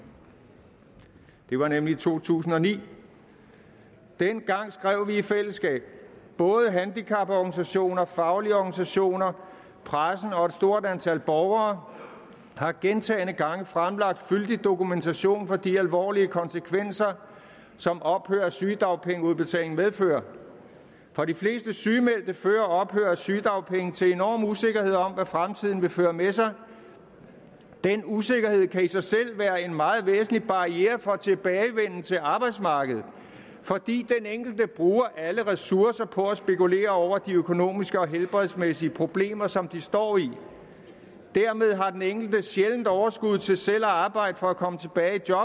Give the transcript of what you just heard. det var nemlig i to tusind og ni dengang skrev vi i fællesskab både handicaporganisationer faglige organisationer pressen og et stort antal borgere har gentagne gange fremlagt fyldig dokumentation for de alvorlige konsekvenser som ophør af sygedagpengeudbetalingen medfører for de fleste sygemeldte fører ophør af sygedagpenge til enorm usikkerhed om hvad fremtiden vil føre med sig den usikkerhed kan i sig selv være en meget væsentlig barriere for tilbagevenden til arbejdsmarkedet fordi den enkelte bruger alle ressourcer på at spekulere over de økonomiske og helbredsmæssige problemer som de står i dermed har den enkelte sjældent overskud til selv at arbejde for at komme tilbage i job